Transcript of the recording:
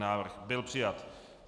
Návrh byl přijat.